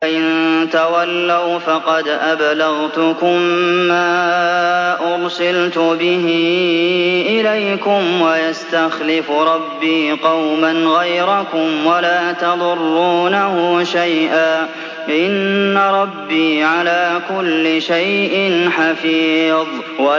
فَإِن تَوَلَّوْا فَقَدْ أَبْلَغْتُكُم مَّا أُرْسِلْتُ بِهِ إِلَيْكُمْ ۚ وَيَسْتَخْلِفُ رَبِّي قَوْمًا غَيْرَكُمْ وَلَا تَضُرُّونَهُ شَيْئًا ۚ إِنَّ رَبِّي عَلَىٰ كُلِّ شَيْءٍ حَفِيظٌ